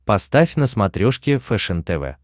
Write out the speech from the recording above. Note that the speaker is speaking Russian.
поставь на смотрешке фэшен тв